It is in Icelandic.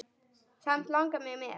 Samt langar mig með.